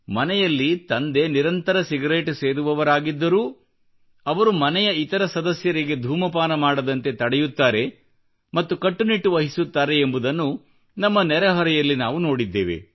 ಮನೆಯಲ್ಲಿ ತಂದೆ ನಿರಂತರ ಸಿಗರೇಟು ಸೇದುವವರಾಗಿದ್ದರೂ ಅವರು ಮನೆಯ ಇತರ ಸದಸ್ಯರಿಗೆ ಧೂಮಪಾನ ಮಾಡದಂತೆ ತಡೆಯುತ್ತಾರೆ ಮತ್ತು ಕಟ್ಟು ನಿಟ್ಟು ವಹಿಸುತ್ತಾರೆ ಎಂಬುದನ್ನು ನಮ್ಮ ನೆರೆಹೊರೆಯಲ್ಲಿ ನಾವು ನೋಡಿದ್ದೇವೆ